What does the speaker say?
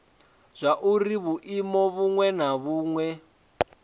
zwauri vhuimo vhuṅwe na vhuṅwe